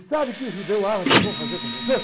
E sabe o que os judeus árabes vão fazer com vocês?